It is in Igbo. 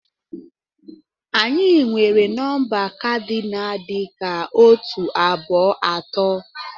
Anyị nwere nọmba kadinal dị ka otu, abụọ, atọ.